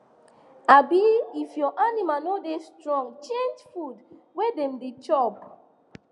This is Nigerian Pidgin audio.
um if your animal no da strong change food wey dem da chop